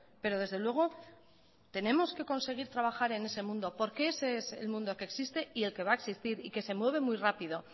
pero desde luego tenemos que conseguir trabajar en ese mundo porque ese es el mundo que existe y el que va a existir y que se mueve muy rápido